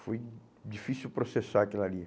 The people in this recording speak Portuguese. Foi difícil processar aquilo ali.